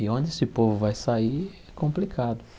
E onde esse povo vai sair é complicado.